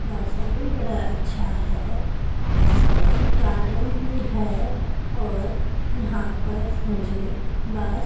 मौसम भी बड़ा अच्छा है पास में एक गार्डन भी है और यहां पर मुझे बस--